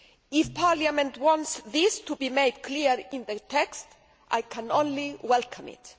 If Parliament wants this to be clear in the text, I can only welcome it.